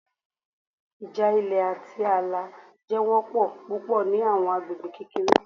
Ija ilẹ ati aala jẹ wọpọ pupọ ni awọn agbegbe kekere